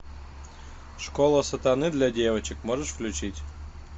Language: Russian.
школа сатаны для девочек можешь включить